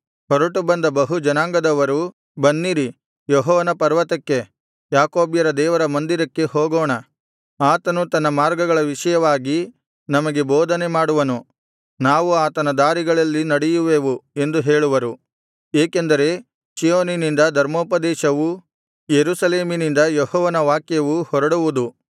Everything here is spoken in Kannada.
ಹೊರಟು ಬಂದ ಬಹು ಜನಾಂಗದವರು ಬನ್ನಿರಿ ಯೆಹೋವನ ಪರ್ವತಕ್ಕೆ ಯಾಕೋಬ್ಯರ ದೇವರ ಮಂದಿರಕ್ಕೆ ಹೋಗೋಣ ಆತನು ತನ್ನ ಮಾರ್ಗಗಳ ವಿಷಯವಾಗಿ ನಮಗೆ ಬೋಧನೆ ಮಾಡುವನು ನಾವು ಆತನ ದಾರಿಗಳಲ್ಲಿ ನಡೆಯುವೆವು ಎಂದು ಹೇಳುವರು ಏಕೆಂದರೆ ಚೀಯೋನಿನಿಂದ ಧರ್ಮೋಪದೇಶವೂ ಯೆರೂಸಲೇಮಿನಿಂದ ಯೆಹೋವನ ವಾಕ್ಯವೂ ಹೊರಡುವುದು